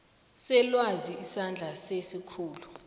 selwazi isandla sesikhulu